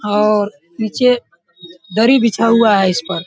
और नीचे दरी बिछा हुआ है इस पर।